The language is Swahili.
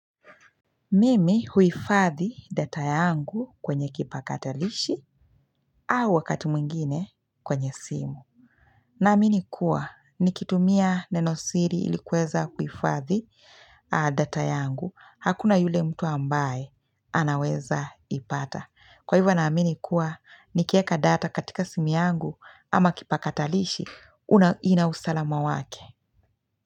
Mimi huhifadhi data yangu kwenye kipakatalishi au wakati mwingine kwenye simu. Naamini kuwa nikitumia neno siri ilikuweza kuifadhi data yangu. Hakuna yule mtu ambaye anaweza ipata. Kwa hivyo naamini kuwa nikieka data katika simu yangu ama kipakatalishi inausalama wake.